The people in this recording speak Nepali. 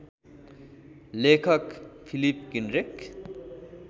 लेखक फिलिप किन्ड्रेक